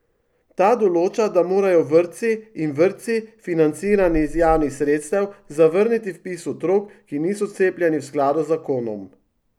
Ta določa, da morajo vrtci in vrtci, financirani iz javnih sredstev, zavrniti vpis otrok, ki niso cepljeni v skladu z zakon.